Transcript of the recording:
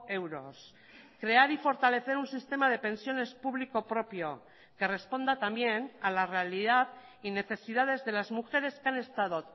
euros crear y fortalecer un sistema de pensiones público propio que responda también a la realidad y necesidades de las mujeres que han estado